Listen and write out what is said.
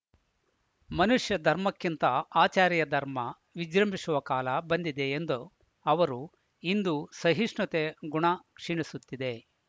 ಮನುಷ್ಯ ಧರ್ಮಕ್ಕಿಂತ ಆಚಾರ್ಯ ಧರ್ಮ ವಿಜೃಂಭಿಶುವ ಕಾಲ ಬಂದಿದೆ ಎಂದು ಅವರು ಇಂದು ಸಹಿಷ್ಣುತೆ ಗುಣ ಕ್ಷೀಣಿಸುತ್ತಿದೆ